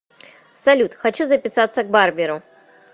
салют хочу записаться к барберу